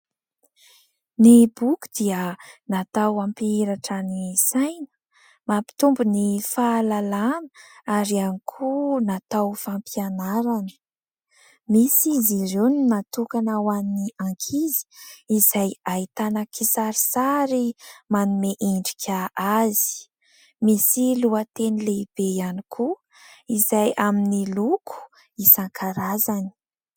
Ny boky dia natao hampihiratra ny saina, hampitombo ny fahalalàna ary ihany koa natao fampianarana. Misy izy ireo no natokana ho an'ny ankizy izay ahitana kisarisary manome endrika azy. Misy lohateny lehibe ihany koa izay amin'ny loko isan-karazany.